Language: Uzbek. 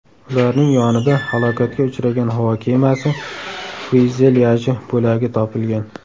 Ularning yonida halokatga uchragan havo kemasi fyuzelyaji bo‘lagi topilgan.